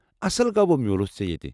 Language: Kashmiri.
اصل گوٚو بہٕ مِیوٗلُس ژےٚ ییتہِ ۔